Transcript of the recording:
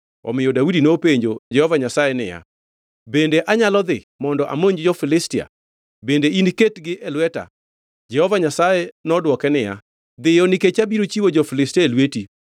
omiyo Daudi nopenjo Jehova Nyasaye niya, “bende anyalo dhi mondo amonj jo-Filistia? Bende iniketgi e lweta?” Jehova Nyasaye nodwoke niya, “Dhiyo, nikech abiro chiwo jo-Filistia e lweti.”